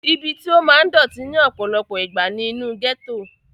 ibi tí ó máa ń dọ̀tí ní ọ̀pọ̀lọpọ̀ ìgbà ni inú gẹ́tò